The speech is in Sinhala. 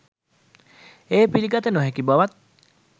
එය පිළිගත නොහැකි බවත්